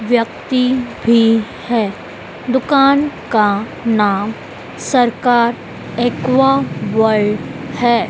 व्यक्ति भी है दुकान का नाम सरकार एक्वा बॉय है।